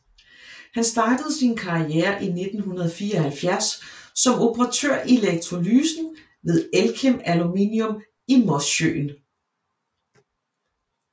Han startede sin karriere i 1974 som operatør i elektrolysen ved Elkem Aluminium i Mosjøen